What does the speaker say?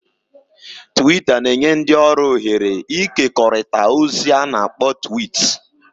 "Twiita na-enye ndị ọrụ ohere ịkekọrịta ozi a na-akpọ ""twiits"""